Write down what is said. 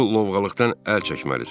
Bu lovğalıqdan əl çəkməlisən.